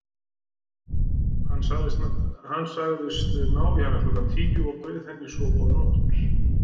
Hann sagðist ná í hana klukkan tíu og bauð henni svo góða nótt.